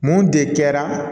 Mun de kɛra